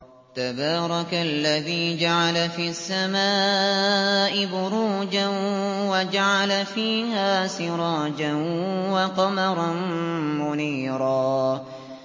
تَبَارَكَ الَّذِي جَعَلَ فِي السَّمَاءِ بُرُوجًا وَجَعَلَ فِيهَا سِرَاجًا وَقَمَرًا مُّنِيرًا